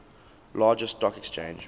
largest stock exchange